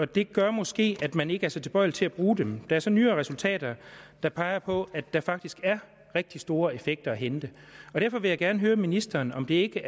det gør måske at man ikke er så tilbøjelig til at bruge dem er så nyere resultater der peger på at der faktisk er rigtig store effekter at hente derfor vil jeg gerne høre ministeren om det ikke